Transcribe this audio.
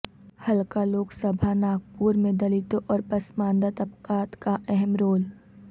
حلقہ لوک سبھا ناگپور میں دلتوں اور پسماندہ طبقات کا اہم رول